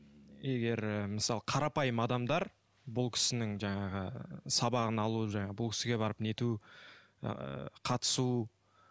егер мысалы қарапайым адамдар бұл кісінің жаңағы сабағын алу жаңағы бұл кісіге барып нету ы қатысу